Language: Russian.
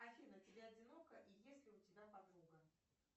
афина тебе одиноко и есть ли у тебя подруга